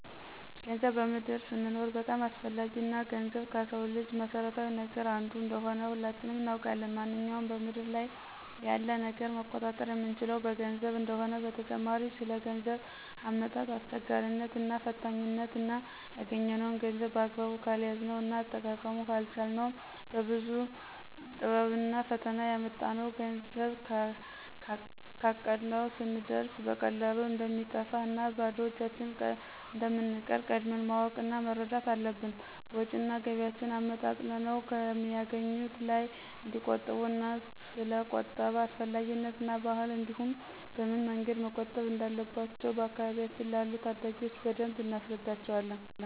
ገንዘብ በምድር ስንኖር በጣም አስፈላጊ እና ገንዘብ ከስው ልጅ መሰረታዊ ነገር አንዱ እንደሆነ ሁላችንም እናውቃለን ማነኛውንም በምድር ላይ ያለን ነገር መቆጣጠር የምንችለው በገንዘብ እንደሆነ፣ በተጨማሪ ስለ ገንዘብ አመጣጥ አስቸጋሪነት እና ፈታኝነት እና ያግኘነውን ገንዘብ በአግባቡ ካልያዝነው እና አጠቃቀሙን ካልቻልነው በብዙ ጥረቭና ፈተና ያመጣነውን ገንዘብ ካቀድነው ስንየርስ በቀላሉ እንደሚጠፋ እና ባዶ እጃችን እንደምንቀር ቀድመን ማወቅ እና መረዳት አለብን። ወጭ እና ገቢያቸውን አመጣጥነው ከሚያገኙት ላይ እንዲቆጥቡ እና ሰለ ቁጠባ አስፈላጊነት እና ባህል እንዲሁም በምን መንገድ መቆጠብ እንዳለባቸው በአካባቢያችን ላሉ ታዳጊዎች በደንብ እናስረዳቸዋለን።